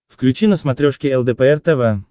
включи на смотрешке лдпр тв